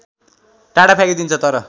टाढा फ्याँकिदिन्छ तर